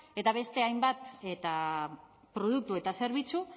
eta beste hainbat eta produktu eta zerbitzu